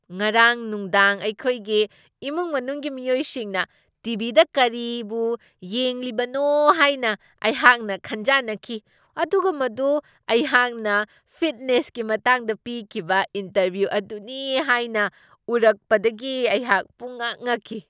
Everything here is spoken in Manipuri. ꯉꯔꯥꯡ ꯅꯨꯡꯗꯥꯡ ꯑꯩꯈꯣꯏꯒꯤ ꯏꯃꯨꯡ ꯃꯅꯨꯡꯒꯤ ꯃꯤꯑꯣꯏꯁꯤꯡꯅ ꯇꯤ.ꯚꯤ.ꯗ ꯀꯔꯤꯕꯨ ꯌꯦꯡꯂꯤꯕꯅꯣ ꯍꯥꯏꯅ ꯑꯩꯍꯥꯛꯅ ꯈꯟꯖꯥꯟꯅꯈꯤ ꯑꯗꯨꯒ ꯃꯗꯨ ꯑꯩꯍꯥꯛꯅ ꯐꯤꯠꯅꯦꯁꯀꯤ ꯃꯇꯥꯡꯗ ꯄꯤꯈꯤꯕ ꯏꯟꯇꯔꯕ꯭ꯌꯨ ꯑꯗꯨꯅꯤ ꯍꯥꯏꯅ ꯎꯔꯛꯄꯗꯒꯤ ꯑꯩꯍꯥꯛ ꯄꯨꯝꯉꯛ ꯉꯛꯈꯤ ꯫